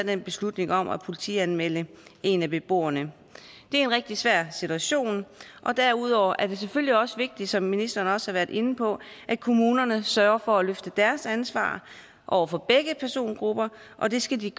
den beslutning om at politianmelde en af beboerne det er en rigtig svær situation og derudover er det selvfølgelig også vigtigt som ministeren også har været inde på at kommunerne sørger for at løfte deres ansvar over for begge persongrupper og det skal de